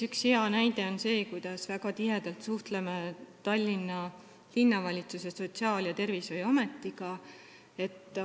Üks hea näide on see, kuidas me väga tihedalt suhtleme Tallinna Sotsiaal- ja Tervishoiuametiga.